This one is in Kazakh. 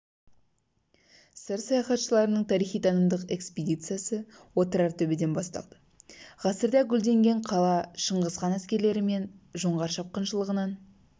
сыр саяхатшыларының тарихи-танымдық экспедициясы отырар төбеден басталды ғасырда гүлденген қала шыңғыс хан әскерлері мен жоңғар шапқыншылығынан